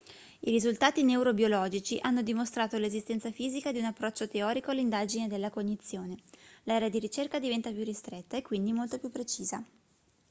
i risultati neurobiologici hanno dimostrato l'esistenza fisica di un approccio teorico all'indagine della cognizione l'area di ricerca diventa più ristretta e quindi molto più precisa